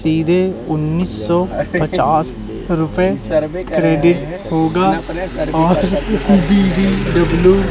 सीधे उन्नीस सौ पचास रुपए क्रेडिट होगा और डी_डी_डब्ल्यू --